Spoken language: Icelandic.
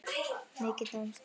Mikið dansað.